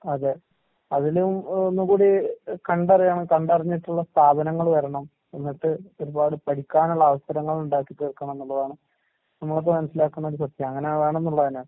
അതെ. അതിലും എഹ് ഒന്നും കൂടി എഹ് കണ്ടറിയണം. കണ്ടറിഞ്ഞിട്ട്ള്ള സ്ഥാപനങ്ങള് വരണം, എന്നിട്ട് ഒരുപാട് പഠിക്കാന്ള്ള അവസരങ്ങളിണ്ടാക്കിത്തീർക്കണന്നിള്ളതാണ് നമ്മളിപ്പ മനസ്സിലാക്കുന്നൊരു സത്യം. അങ്ങനെ വേണന്ന്ള്ളതന്നാ.